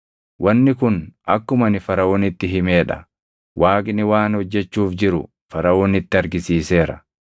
“Wanni kun akkuma ani Faraʼoonitti himee dha. Waaqni waan hojjechuuf jiru Faraʼoonitti argisiiseera.